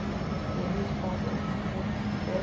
belifa lomfi obhubhe